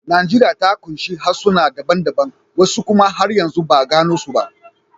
Najeriya ta kunshi harsuna daban-daban, wasu kuma har yanzu ba a gano su ba.